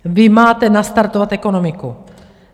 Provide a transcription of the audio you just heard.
Vy máte nastartovat ekonomiku!